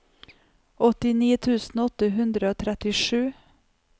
åttini tusen åtte hundre og trettisju